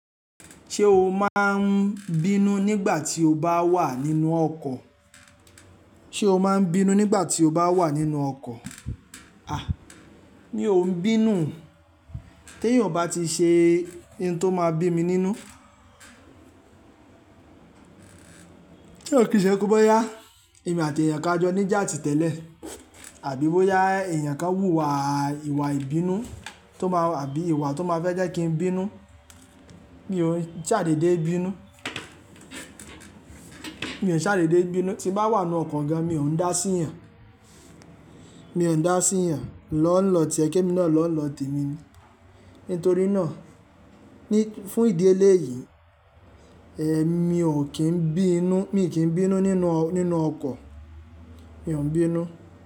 Ṣé o máa ń bínú nígbà tí o bá wà nínú ọkọ̀? Sé o máa ń bínú nígbà tí o bá wà nínú ọkọ̀? À, mi ò ń bínú. Tí èèyàn bá ti ṣe ohun tó máa bí mi nínú, kí ó kì ṣe wipe bóyá èmi àti èèyàn kan a jọ ní ija ti tẹ́lẹ̀, àbí bóyá èèyàn kan wùwà ìwà ìbínú tó máa àbí ìwà tó máa fẹ́ jẹ́ kí n bínú, mi ò ń ṣàdédé bínú. Mi ò ṣàdédé bínú. Tí n bá wà nínú ọkọ̀ ga, mi ò ń dá sí èèyàn. Mi ò ń dá sí èèyàn lọ́nà tí o yẹ kí emi náà lọ́nà nlo temi ni. Nítorí náà, ní fún ìdí eléyìí, èmi ò kín bí nú, mi kì í bínú nínú, nínú ọkọ̀. Mi ò ń bínú.